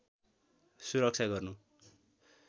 सुरक्षा गर्नु